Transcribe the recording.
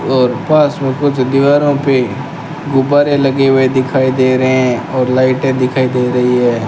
और पास में कुछ दीवारों पे गुब्बारे लगे हुए दिखाई दे रहे हैं और लाइटें दिखाई दे रही है।